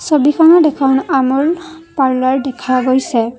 ছবিখনত এখন আমূল পাৰ্লাৰ দেখা গৈছে।